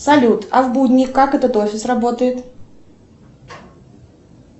салют а в будни как этот офис работает